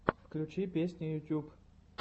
включи песни ютуб